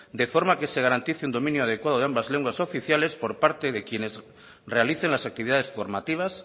de forma que se garantice un dominio adecuado de ambas lenguas oficiales por parte de quienes realicen las actividades formativas